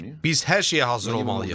Biz hər şeyə hazır olmalıyıq.